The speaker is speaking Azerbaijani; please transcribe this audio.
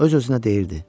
Öz-özünə deyirdi: